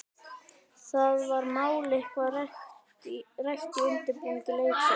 Var það mál eitthvað rætt í undirbúningi leiksins?